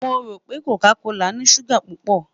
Mo ro pe coca kola ni suga pupọ